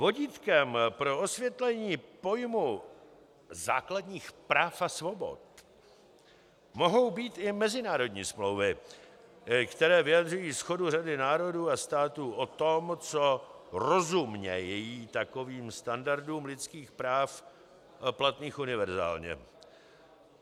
Vodítkem pro osvětlení pojmu základních práv a svobod mohou být i mezinárodní smlouvy, které vyjadřují shodu řady národů a států o tom, co rozumějí takovým standardům lidských práv platných univerzálně.